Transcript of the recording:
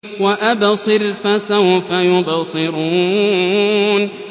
وَأَبْصِرْ فَسَوْفَ يُبْصِرُونَ